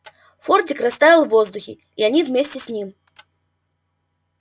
фордик растаял в воздухе и они вместе с ним